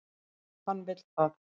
Hann vill það.